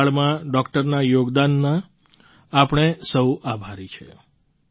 corona કાળમાં ડૉક્ટરના યોગદાનના આપણે સહુ આભારી છે